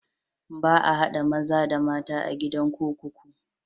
Ba a haɗa maza da mata a gidan kurkuku.